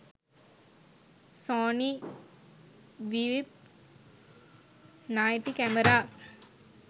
sony bvp 90 camera